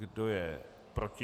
Kdo je proti?